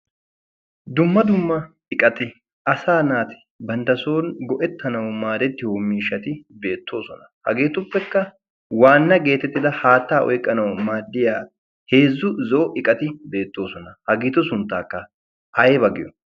dumma dumma iqati asa naati bantta son go7ettanawu maarettiyo miishati beettoosona. hageetuppekka waanna geetettida haattaa oiqqanawu maaddiya heezzu zo'o iqati beettoosona. ha giitu sunttaakka aibagiyo?